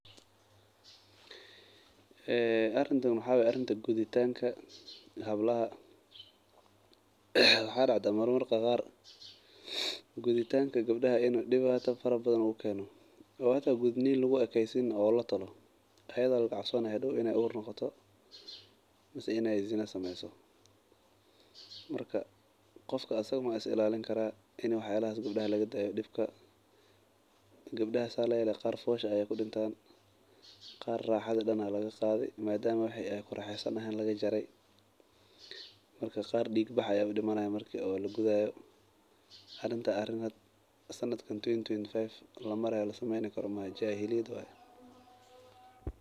Eee arintan waxaa arinta guditanka gebdaha , waxaa dacdaa marmar qar in guditanka gebdaha in dibata fara badhan oo keno oo hata gudnima le luguekesinin ee hata latolo ayaa lagacabsanayo in ay hadow ur noqoto ama zina smayso, qofka asaga ma is ilalin karaah in waxyalahas gebdaha laga ilaliyo. Gedaha sas layelayo fosha ay kurafadan , qarna raxada aa lagaqadhi, marka qar diiq bax ay udimanayan marki lagudayo. Arintas arin hada sanadkan lugujiro twenty twenty five lasameyn karo maaoho.